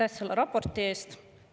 Aitäh selle raporti eest!